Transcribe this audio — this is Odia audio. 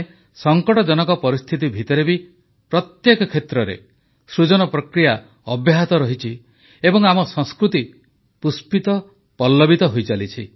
ସଙ୍କଟଜନକ ପରିସ୍ଥିତି ମଧ୍ୟରେ ବି ପ୍ରତ୍ୟେକ କ୍ଷେତ୍ରରେ ସୃଜନ ପ୍ରକ୍ରିୟା ଅବ୍ୟାହତ ରହିଛି ଏବଂ ଆମ ସଂସ୍କୃତି ପୁଷ୍ପିତପଲ୍ଲବିତ ହୋଇଚାଲିଛି